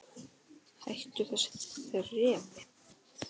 Hættu þessu þrefi!